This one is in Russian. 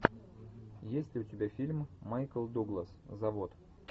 есть ли у тебя фильм майкл дуглас завод